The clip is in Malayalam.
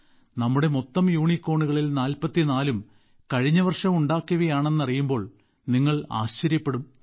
നമ്മുടെ മൊത്തം യൂണികോണുകളിൽ 44 ഉം കഴിഞ്ഞ വർഷം ഉണ്ടാക്കിയവയാണെന്ന് അറിയുമ്പോൾ നിങ്ങൾ ആശ്ചര്യപ്പെടും